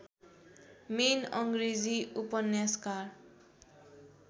main अङ्ग्रेजी उपन्यासकार